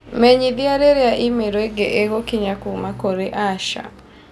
Menyithia rĩrĩa i-mīrū ĩngĩ ĩgukinya kuuma kũrĩ Asha.